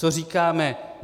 Co říkáme?